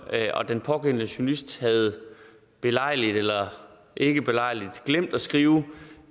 og den pågældende journalist havde belejligt eller ikke belejligt glemt at skrive